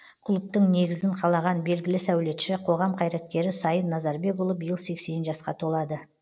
клубтың негізін қалаған белгілі сәулетші қоғам қайраткері сайын назарбекұлы биыл сексен жасқа толады